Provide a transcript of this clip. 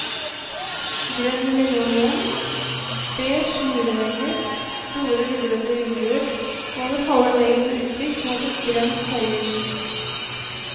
Grønn linoleum, beige murvegger, store, ruglete vinduer over halve veggen med utsikt mot et grønt høyhus.